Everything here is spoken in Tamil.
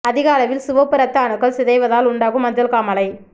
அதிக அளவில் சிவப்பு இரத்த அணுக்கள் சிதைவதால் உண்டாகும் மஞ்சள் காமாலை